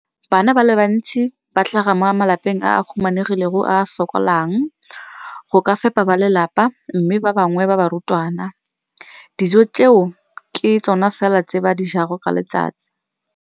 Bana ba le bantsi ba tlhaga mo malapeng a a humanegileng a a sokolang go ka fepa ba lelapa mme ba bangwe ba barutwana, dijo tseo ke tsona fela tse ba di jang ka letsatsi.